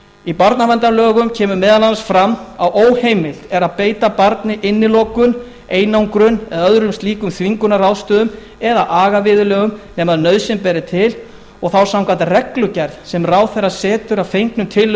í barnaverndarlögum kemur meðal annars fram að óheimilt er að beita barni innilokun einangrun eða árum slíkum þvingunarráðstöfunum eða agaviðurlögum nema nauðsyn beri til og þá samkvæmt reglugerð sem ráðherra setur að fengnum tillögum